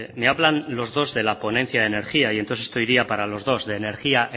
me hablan los dos de la ponencia de energía y entonces esto iría para los dos de energía